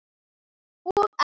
Og ekki grínast neitt!